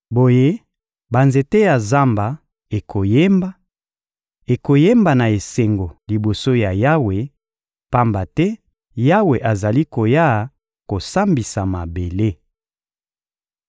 Boye, banzete ya zamba ekoyemba, ekoyemba na esengo liboso ya Yawe, pamba te Yawe azali koya kosambisa mabele.